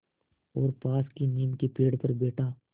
और पास की नीम के पेड़ पर बैठा